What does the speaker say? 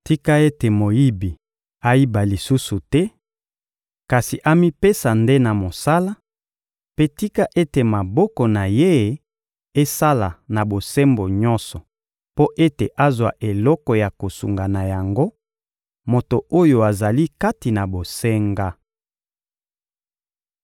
Tika ete moyibi ayiba lisusu te, kasi amipesa nde na mosala; mpe tika ete maboko na ye esala na bosembo nyonso mpo ete azwa eloko ya kosunga na yango moto oyo azali kati na bosenga.